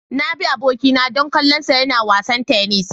Na bi abokina don kallonsa yana wasan tennis.